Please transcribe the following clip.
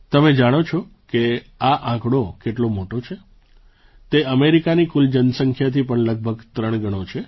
તમે જાણો છો કે આ આંકડો કેટલો મોટો છે તે અમેરિકાની કુલ જનસંખ્યાથી પણ લગભગ ત્રણ ગણો છે